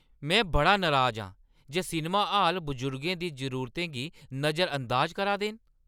में बड़ी नराज आं जे सिनमा हाल बजुर्गें दी जरूरतें गी नजरअंदाज करा दे न।